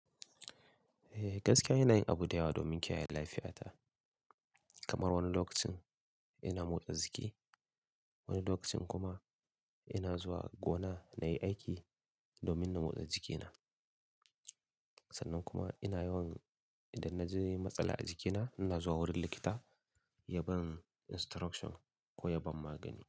Eh, gaskiya ina yin abu dayawa domin kiyaye lafiyata. Kamar wani lokacin ina motsa jiki, wani lokacin kuma ina zuwa gona na yi aiki domin na motsa jikina. Sannan kuma ina yawan idan na ji matsala a jikina, ina zuwa wurin likita ya ban instructure ko ya bani magani.